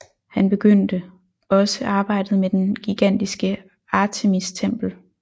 Han påbegyndte også arbejdet med det gigantiske Artemistempel